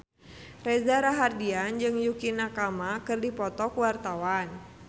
Reza Rahardian jeung Yukie Nakama keur dipoto ku wartawan